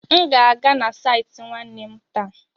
M ga-aga na saịtị nwanne m taa.